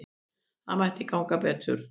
Það mætti ganga betur.